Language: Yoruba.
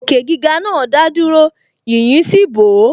Òkè gíga náà dádúró, yīyí sì bò ó